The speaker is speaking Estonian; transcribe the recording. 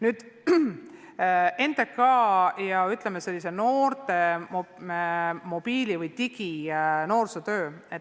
Nüüd, NTK ja, ütleme, mobiili- või digi-noorsootöö.